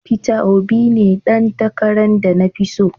Peter Obi ne dan takaran de na fi tso.